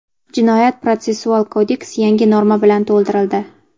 Jinoyat-protsessual kodeks yangi norma bilan to‘ldirildi.